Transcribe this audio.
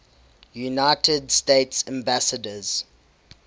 united states ambassadors